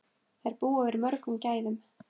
Þær búa yfir mörgum gæðum.